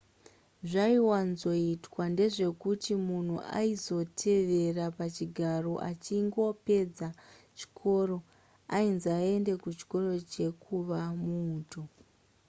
zvaiwanzoitwa ndezvekuti munhu aizotevera pachigaro achingopedza chikoro ainzi aende kuchikoro chekuva muuto